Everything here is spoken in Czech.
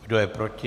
Kdo je proti?